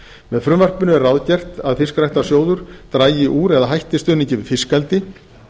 með frumvarpinu er ráðgert að fiskræktarsjóður dragi úr eða hætti stuðningi við fiskeldi